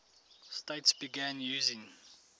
states began using